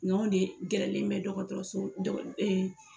Nga an de gɛrɛlen bɛ dɔgɔtɔrɔso dɔ e